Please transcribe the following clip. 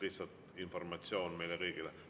Lihtsalt informatsioon meile kõigile.